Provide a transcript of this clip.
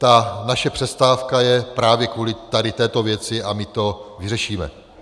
Ta naše přestávka je právě kvůli tady této věci a my to vyřešíme.